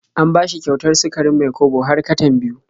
An bashi kyautar sukarin Mai-kwabo har katan biyu.